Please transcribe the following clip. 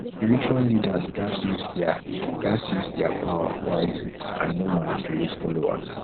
spiritual leaders gatz use their gatz use their power wisely and no manipulate followers